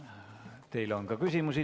Teile on ka küsimusi.